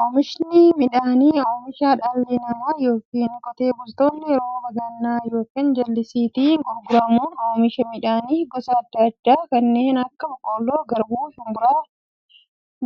Oomishni midhaanii, oomisha dhalli namaa yookiin qotee bultoonni rooba gannaa yookiin jallisiitti gargaaramuun oomisha midhaan gosa adda addaa kanneen akka; boqqoolloo, garbuu, shumburaa,